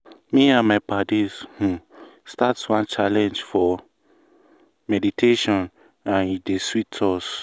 me and my paddies um start one challenge for wait! meditationand e dey sweet us.